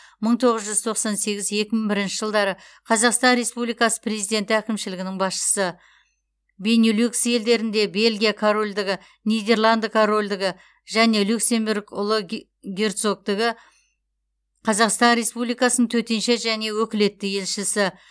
мың тоғыз жүз тоқсан сегіз екі мың бірінші жылдары қазақстан республикасы президенті әкімшілігінің басшысы бенилюкс елдеріндегі бельгия корольдігі нидерланды корольдігі және люксембург ұлы герцогтігі қазақстан республикасының төтенше және өкілетті елшісі